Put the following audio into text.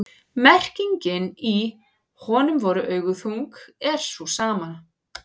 merkingin í „honum voru augu þung“ er sú sama